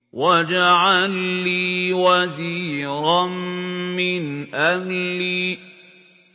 وَاجْعَل لِّي وَزِيرًا مِّنْ أَهْلِي